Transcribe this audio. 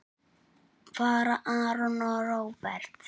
Fara Aron og Róbert?